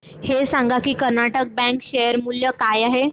हे सांगा की कर्नाटक बँक चे शेअर मूल्य काय आहे